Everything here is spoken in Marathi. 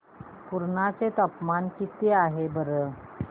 पुर्णा चे तापमान किती आहे सांगा बरं